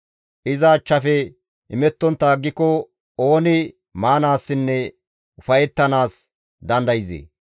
Iza achchafe imettontta aggiko ooni maanaassinne ufayettanaas dandayzee?